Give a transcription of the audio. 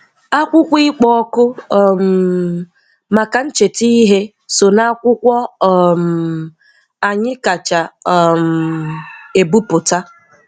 Akwụkwọ ịkpo òkù um maka ncheta ihe so n'akwụkwọ um anyị kacha um ebipụta.